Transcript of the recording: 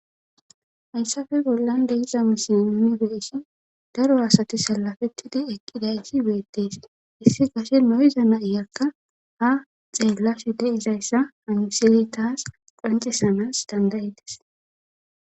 hayssafe bollan de'iza miisile nuni be'eshin daro asati salafettidi eqqidayssi beettees issi gashe lo'iza na'iyakka ha xeelashe deizayssa ha miseley taas qancesanas dandayides